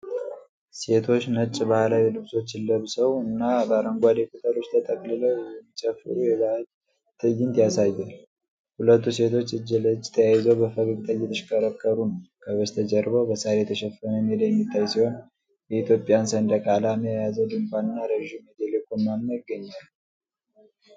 ሴቶች ነጭ ባህላዊ ልብሶችን ለብሰው እና በአረንጓዴ ቅጠሎች ተጠቅልለው የሚጨፍሩበት የባህል ትዕይንት ያሳያል። ሁለቱ ሴቶች እጅ ለእጅ ተያይዘው በፈገግታ እየተሽከረከሩ ነው። ከበስተጀርባው በሣር የተሸፈነ ሜዳ የሚታይ ሲሆን፤ የኢትዮጵያን ሰንደቅ ዓላማ የያዘ ድንኳን እና ረዥም የቴሌኮም ማማ ይገኛሉ።